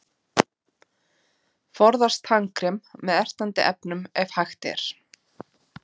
Forðast tannkrem með ertandi efnum ef hægt er.